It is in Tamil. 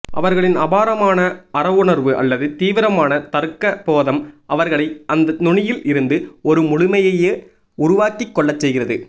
அவர்களின் அபாரமான அறவுணர்வு அல்லது தீவிரமான தர்க்கபோதம் அவர்களை அந்த நுனியில் இருந்து ஒரு முழுமையையே உருவாக்கிக் கொள்ளச்செய்கிறது